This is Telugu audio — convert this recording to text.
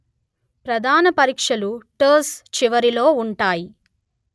ప్రధాన పరీక్షలు టస్ చివరలో ఉంటాయి